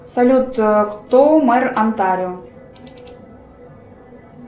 салют кто мэр онтарио